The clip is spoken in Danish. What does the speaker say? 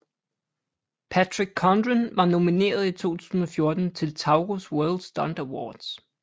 Patrick Condren var nomineret i 2004 til Taurus World Stunt Awards